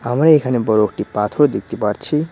আমি এখানে বড় একটি পাথর দেখতে পারছি।